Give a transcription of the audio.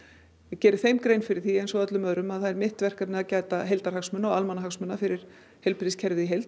geri þeim grein fyrir því eins og öllum öðrum að það er mitt verkefni að gæta heildarhagsmuna og almannahagsmuna fyrir heilbrigðiskerfið í heild